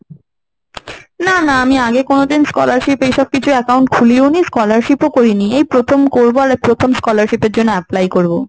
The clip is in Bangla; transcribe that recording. না না আমি আগে কোনদিন scholarship এই সব কিছুর account খুলিনি, scholarship ও করিনি এই প্রথম করব। আরে প্রথম scholarship এর জন্য apply করব।